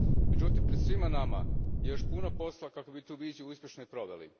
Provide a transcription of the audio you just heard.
Međutim, pred svima nama je još puno posla kako bismo tu viziju uspješno i proveli.